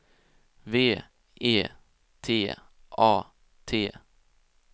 V E T A T